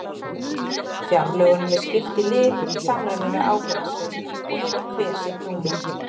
Fjárlögunum er skipt í liði í samræmi við ábyrgðarsvið og hefur hver sitt númer.